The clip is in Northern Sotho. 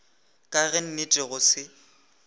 ka ge nnete go se